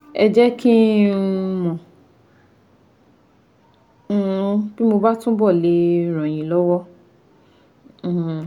Ẹ jẹ́ kí n um mọ̀ bí mo bá túbọ̀ le ràn yín lọ́wọ́ um